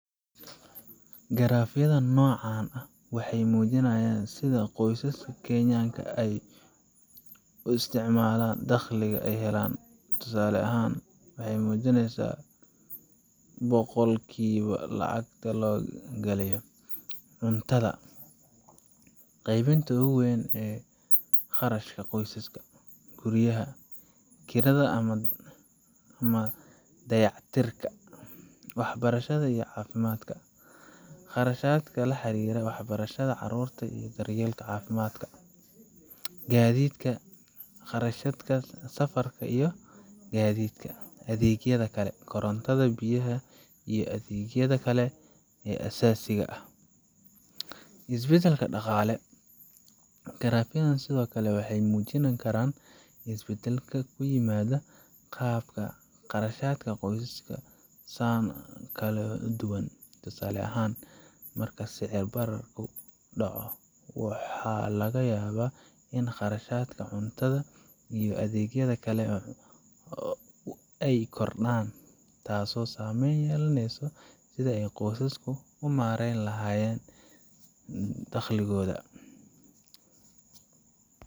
Garaafyada noocan ah waxay muujinayaan sida qoysaska Kenyaanka ah ay u qaybiyaan dakhliga ay helaan. Tusaale ahaan, waxay muujin karaan boqolkiiba lacagta la geliyo: Cuntada: Qaybta ugu weyn ee kharashka qoysaska. Guryaha: Kirada ama dayactirka guryaha. Waxbarashada iyo Caafimaadka: Kharashaadka la xiriira waxbarashada carruurta iyo daryeelka caafimaadka. Gaadiidka: Kharashaadka safarka iyo gaadiidka. Adeegyada kale: Korontada, biyaha, iyo adeegyada kale ee aasaasiga ah. Isbeddelada Dhaqaale Garaafyada sidoo kale waxay muujin karaan isbeddelada ku yimid qaababka kharashka qoysaska sanado kala duwan. Tusaale ahaan, marka sicir bararku dhaco, waxaa laga yaabaa in kharashaadka cuntada iyo adeegyada kale ay kordhaan, taasoo saameyn ku yeelanaysa sida qoysaska u maareeyn lahayen dakhligoda.